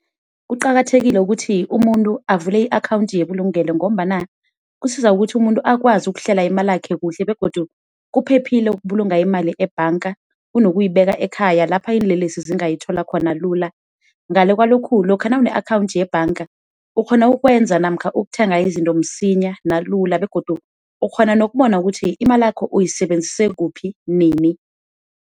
Kuqakathekile ukuthi umuntu avule i-akhawundi yebulugelo ngombana kusiza ukuthi umuntu akwazi ukuhlela imalakho kuhle begodu kuphephile ukubulunga imali ebhanga kunokuyibeka ekhaya lapha iinlelesi zingayithola khona lula. Ngale kwalokhu, lokha nawune akhawundi yebhanga, ukghona ukwenza namkha ukuthenga izinto lula, ukghona nokubona ukuthi imalakho uyisebenzise kuphi, nini.